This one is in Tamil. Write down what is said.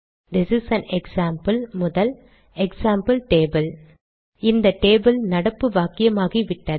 திஸ் இஸ் ஆன் எக்ஸாம்பிள் முதல் எக்ஸாம்பிள் டேபிள் இந்த டேபிள் நடப்பு வாக்கியமாகிவிட்டது